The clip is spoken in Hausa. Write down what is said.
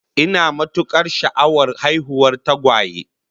Ina matukar sha'awar haihuwar tagwaye